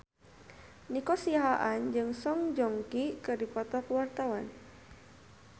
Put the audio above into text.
Nico Siahaan jeung Song Joong Ki keur dipoto ku wartawan